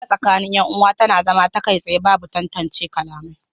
Hira tsakanin yan uwa tana zama ta kai tsaye babu tantance kalamai